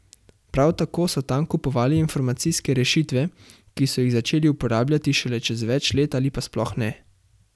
Prav tako so tam kupovali informacijske rešitve, ki so jih začeli uporabljati šele čez več let ali pa sploh ne.